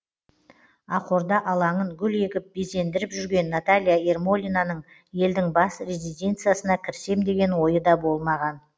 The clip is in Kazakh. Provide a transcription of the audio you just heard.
ақорда алаңын гүл егіп безендіріп жүрген наталья ермолинаның елдің бас резиденциясына кірсем деген ойы да болмаған